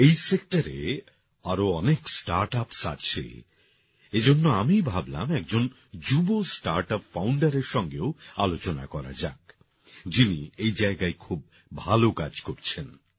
এই সেক্টরে আরো অনেক স্টার্টআপস আছে এজন্য আমি ভাবলাম একজন যুব স্টার্টআপ founderএর সঙ্গেও আলোচনা করা যাক যিনি এই জায়গায় খুব ভালো কাজ করছেন